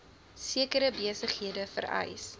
sekere besighede vereis